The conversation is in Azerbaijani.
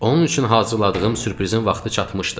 Onun üçün hazırladığım sürprizin vaxtı çatmışdı.